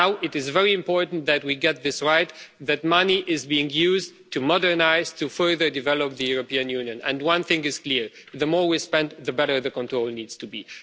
Now it is very important that we get this right, that money is being used to modernise, to further develop the European Union and one thing is clear the more we spend the better the control needs to be.